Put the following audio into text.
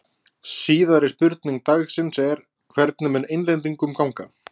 Síðari spurning dagsins er: Hvernig mun Englendingum ganga?